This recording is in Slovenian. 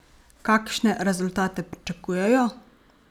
Kakšne rezultate pričakujejo?